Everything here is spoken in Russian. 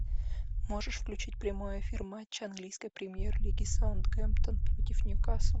можешь включить прямой эфир матча английской премьер лиги саутгемптон против ньюкасл